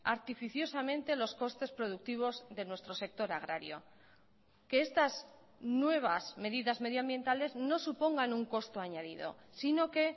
artificiosamente los costes productivos de nuestro sector agrario que estas nuevas medidas medioambientales no supongan un costo añadido sino que